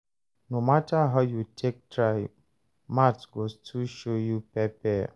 No matter how you take try, maths go still show you pepper.